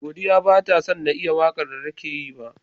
Godiya batasan na iya waƙar datake Yi ba